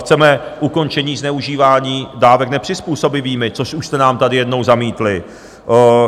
Chceme ukončení zneužívání dávek nepřizpůsobivými, což už jste nám tady jednou zamítli.